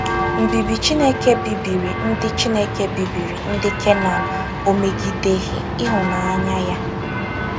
Mbibi Chineke bibiri ndị Chineke bibiri ndị Kenan ó megideghị ịhụnanya ya?